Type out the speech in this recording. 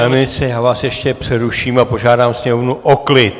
Pane ministře, já vás ještě přeruším a požádám sněmovnu o klid.